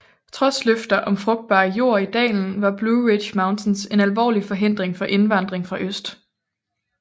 Trods løfter om frugtbar jord i dalen var Blue Ridge Mountains en alvorlig forhindring for indvandring fra øst